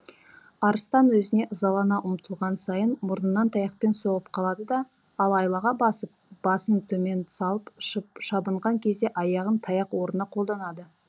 арыстан өзіне ызалана ұмтылған сайын мұрнынан таяқпен соғып қалады да ал айлаға басып басын төмен салып шабынған кезде аяғын таяқ орнына қолданады